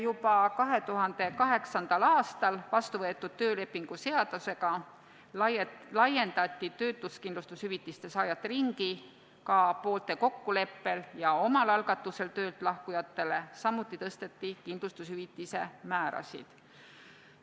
Juba 2008. aastal vastu võetud töölepingu seadusega laiendati töötuskindlustushüvitise saajate ringi ka poolte kokkuleppel ja omal algatusel töölt lahkujatele, samuti tõsteti kindlustushüvitise määrasid.